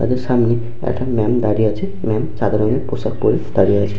তাদের সামনে একটা ম্যাম দাঁড়িয়ে আছে ম্যাম সাদা রঙের পোশাক পরে দাঁড়িয়ে আছে।